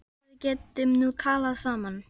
Ég held að við getum nú talað saman!